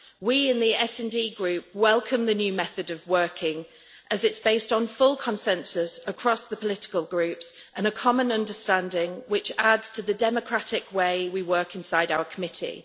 We in the SD Group welcome the new method of working as it is based on full consensus across the political groups and a common understanding which adds to the democratic way we work inside our committee.